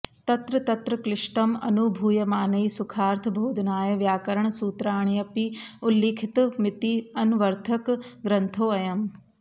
तत्र तत्र क्लिष्टं अनुभूयमानैः सुखार्थ बोधनाय व्याकरणसूत्राण्यपि उल्लिखितमिति अन्वर्थक ग्रन्थोऽयं